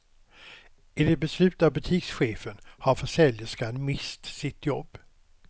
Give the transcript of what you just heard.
Enligt beslut av butikschefen har försäljerskan mist sitt jobb.